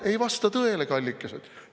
Ei vasta tõele, kallikesed!